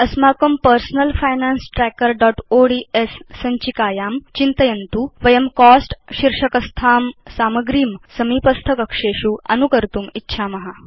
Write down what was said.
अस्माकं personal finance trackerओड्स् सञ्चिकायां चिन्तयन्तु वयं कोस्ट शीर्षकस्थां सामग्रीं समीपस्थ कक्षेषु अनुकर्तुं इच्छाम